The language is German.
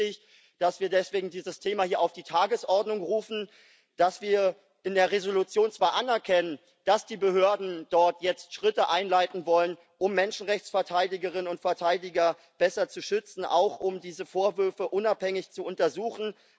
Es ist wichtig, dass wir deswegen dieses Thema hier auf die Tagesordnung rufen, dass wir in der Entschließung zwar anerkennen, dass die Behörden dort jetzt Schritte einleiten wollen, um Menschenrechtsverteidigerinnen und verteidiger besser zu schützen, auch um diese Vorwürfe unabhängig zu untersuchen.